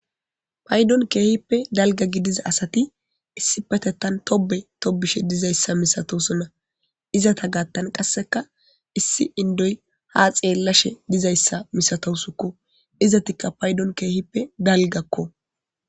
paydon keehippe dalga gidiza asati issi petettan tobe tobushe dizayssa misatosonna izata gaattan qasseka issi indoy ha xeellashe dizayssa misatosukko izatikka paydon keehippe dalgakko